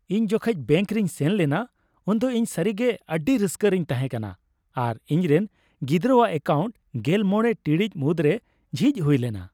ᱤᱧ ᱡᱚᱠᱷᱮᱡ ᱵᱮᱝᱠ ᱨᱤᱧ ᱥᱮᱱ ᱞᱮᱱᱟ ᱩᱱᱫᱚ ᱤᱧ ᱥᱟᱹᱨᱤᱜᱮ ᱟᱹᱰᱤ ᱨᱟᱹᱥᱠᱟᱹ ᱨᱮᱧ ᱛᱟᱦᱮᱸᱠᱟᱱᱟ, ᱟᱨ ᱤᱧᱨᱮᱱ ᱜᱤᱫᱽᱨᱟᱣᱟᱜ ᱮᱠᱟᱣᱩᱱᱴ ᱑᱕ ᱴᱤᱲᱤᱡ ᱢᱩᱫᱽᱨᱮ ᱡᱷᱤᱡ ᱦᱩᱭ ᱞᱮᱱᱟ ᱾